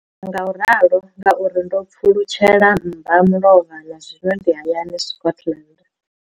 Ndi amba ngauralo nga uri ndo pfulutshela mmbamulovha na zwino ndi hayani, Scotland.